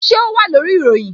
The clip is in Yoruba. Ṣé o wà lórí ìròyìn?